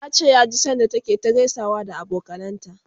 yace ya ji sanda take ta gaisawa da abokanan ta